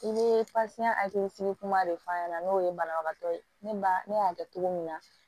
I bɛ kuma de fɔ a ɲɛna n'o ye banabagatɔ ye ne ba ne y'a kɛ cogo min na